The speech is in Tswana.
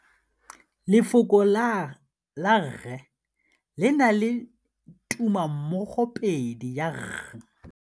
Lefoko la rre le na le tumammogôpedi ya, r.